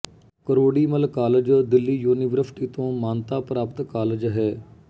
ਕਰੋੜੀ Mal College Delhi University ਤੋਂ ਮਾਨਤਾ ਪ੍ਰਾਪਤ ਕਾਲਜ ਹੈ